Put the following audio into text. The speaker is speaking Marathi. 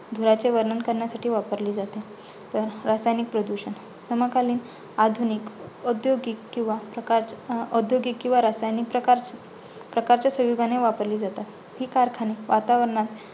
धुराचे वर्णन करण्यासाठी वापरले जाते. रासायनिक प्रदूषण समकालीन, आधुनिक किंवा औद्योगिक किंवा प्रकारच्या अं औद्योगिक किंवा रासायनिक प्रकारच्या संयोगाने वापरली जातात. हि कारखाने वातावरणात